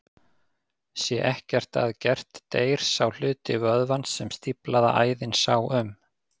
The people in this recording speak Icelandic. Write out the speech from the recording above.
Sé ekkert að gert deyr sá hluti vöðvans sem stíflaða æðin sá um.